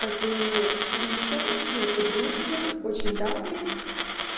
как бы лиза моя подружка очень давняя